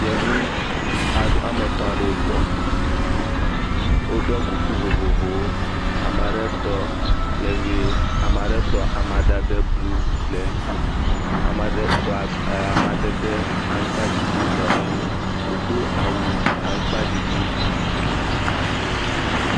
Yevu aɖe wo ame etɔ̃ aɖewo tɔ. Woɖɔ kuku vovovowo. Ame aɖe tɔ le ʋi. Ame aɖe tɔ amadede blu le eŋuti. Ame aɖe tɔ ab e amadede aŋkpaɖiɖi le eŋu. wodo awu aŋkpaɖiɖi.